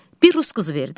Bir rus qızı verdi.